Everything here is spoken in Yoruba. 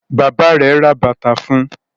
bàbá rẹ rè bàtá fún.